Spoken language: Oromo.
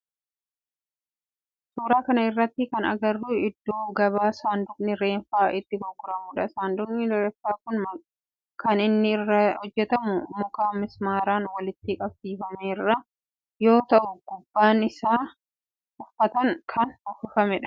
Suuraa kana irratti kan agarru iddoo gabaa saanduqni reeffaa itti gurguramudha. Saanduqni reeffaa kun kan inni irraa hojjetamu muka mismaaran walitti qabsifame irraa yoo ta'u gubbaan isaa uffataan kan uwwifamudha.